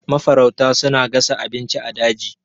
Mafarauta suna gasa abinci a daji.